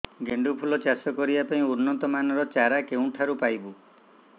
ଗେଣ୍ଡୁ ଫୁଲ ଚାଷ କରିବା ପାଇଁ ଉନ୍ନତ ମାନର ଚାରା କେଉଁଠାରୁ ପାଇବୁ